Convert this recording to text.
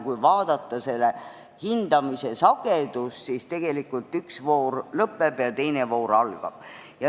Kui vaadata hindamise sagedust, siis tegelikult üks voor lõpeb ja teine algab.